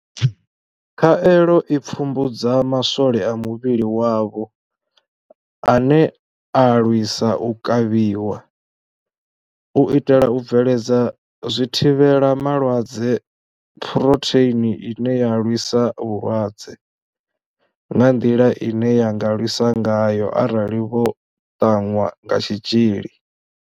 Khaelo i pfumbudza ma swole a muvhili wavho ane a lwisa u kavhiwa, u itela u bveledza zwithivhela malwadze phurotheini ine ya lwisa vhulwadze nga nḓila ine ya nga lwisa ngayo arali vho ṱanwa kha tshitzhili.